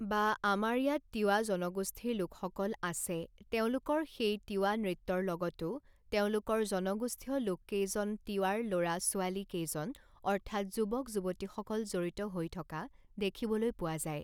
বা আমাৰ ইয়াত তিৱা জনগোষ্ঠীৰ লোকসকল আছে তেওঁলোকৰ সেই তিৱা নৃত্যৰ লগতো তেওঁলোকৰ জনগোষ্ঠীয় লোককেইজন তিৱাৰ ল'ৰা ছোৱালী কেইজন অৰ্থাৎ যুৱক যুৱতীসকল জড়িত হৈ থকা দেখিবলৈ পোৱা যায়